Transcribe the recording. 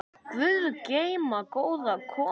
Guð geymi góða konu.